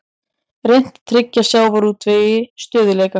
Reynt að tryggja sjávarútvegi stöðugleika